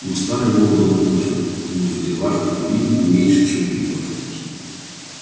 но старый волк был мудр мудр в делах любви не меньше чем в битвах